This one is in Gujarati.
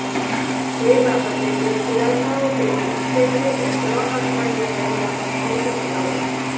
જે બાબતે જે ખુલાસાઓ તેઓ ઇચ્છે છે એ ત્રણ અઠવાડિયાં પહેલાં પણ થઈ શક્યા હોત